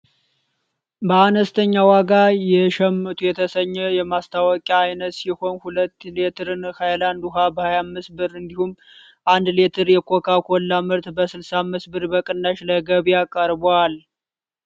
በአነስተኛ ዋጋ የሸምቱ የተሰኘ የማስታወቂያ አይነት ሲሆን ሁለት ሌትርን ሃይላንድ ውሃ በ25 ብር እንዲሁም አንድ ሌትር የኮካ ኮላ ምርት በ65 ብር በቅናሽ ለገበያ ቀርቧል።